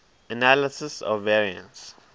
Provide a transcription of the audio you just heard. analysis of variance